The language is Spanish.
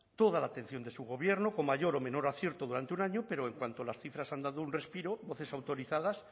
toda la atención de su gobierno con mayor o menor acierto durante un año pero en cuanto las cifras han dado un respiro voces autorizadas